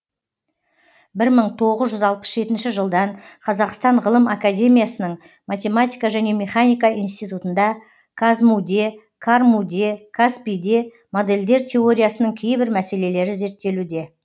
бір мың тоғыз жүз алпыс жетінші жылдан қазақстан ғылым академиясының математика және механика институтында қазму де қарму де қазпи де модельдер теориясының кейбір мәселелері зерттелуде